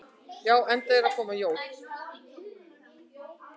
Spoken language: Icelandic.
Já, enda eru að koma jól.